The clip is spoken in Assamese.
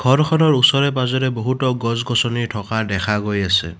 ফটোখনৰ ওচৰে পাজৰে বহুতো গছ গছনি থকা দেখা গৈ আছে।